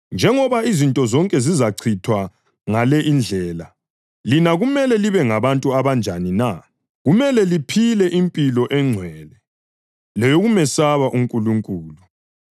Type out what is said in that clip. Njengoba izinto zonke zizachithwa ngale indlela, lina kumele libe ngabantu abanjani na? Kumele liphile impilo engcwele leyokumesaba uNkulunkulu